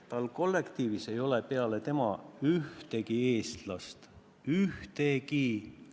Tal kollektiivis ei ole peale tema ühtegi eestlast – ühtegi!